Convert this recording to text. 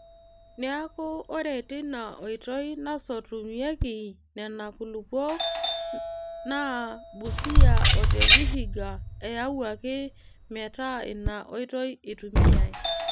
Neeku ore ina oitoi nasotumyeki Nena kulupuok naa Busia o te Vihiga eyawuaki metaa ina oitoi eitumiyai.